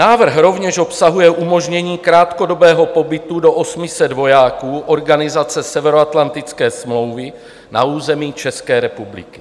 Návrh rovněž obsahuje umožnění krátkodobého pobytu do 800 vojáků organizace Severoatlantické smlouvy na území České republiky.